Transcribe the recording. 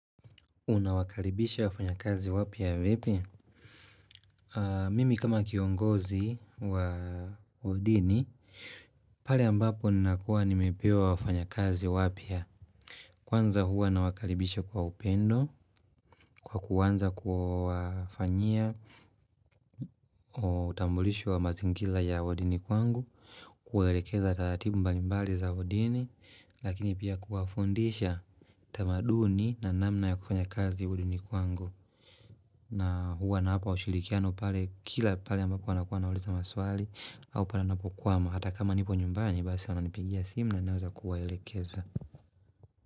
Unawakalibisha wafanya kazi wapia vipi? Mimi kama kiongozi wa hudini, pale ambapo nakuwa nimepewa wafanya kazi wapia. Kwanza huwa na wakalibisha kwa upendo, kwa kuwanza kufanyia. Utambulishu wa mazingila ya hudini kwangu, kuwelekeza tatibu mbalimbali za hudini, lakini pia kuafundisha tamaduni na namna ya kufanya kazi hudini kwangu. Na huwa nawapa ushilikiano pale kila pale ambako anakuwa na uleza maswali Aupa na napokuwa hata kama nipo nyumbani base wanapigia simu na neweza kuwaelekeza.